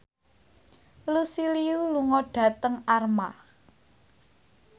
Lucy Liu lunga dhateng Armargh